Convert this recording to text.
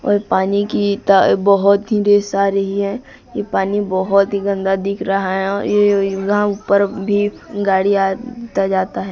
और पानी की ता बहोत ही दृश्य आ रही है ये पानी बहोत ही गंदा दिख रहा है और ये यहां ऊपर भी गाड़ी आता जाता है।